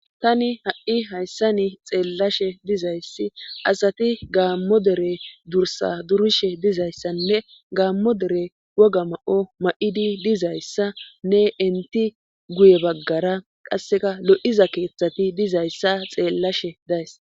Tani ha7i hayssani xeellashe dizayssi asati gaammo dere dursa durishe dizayssanne gaammo dere woga ma7o ma7idi dizayssa ne inti guye baggara qasseka lo7iza keeththati dizayssa xeellashe days.